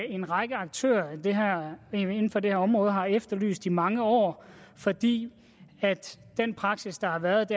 en række aktører inden for det her område har efterlyst i mange år fordi praksis har været